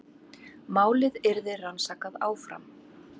Málið yrði rannsakað áfram